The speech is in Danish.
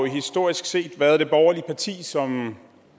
jo historisk set været det borgerlige parti som